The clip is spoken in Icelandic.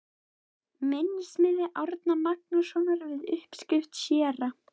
Minnismiði Árna Magnússonar við uppskrift séra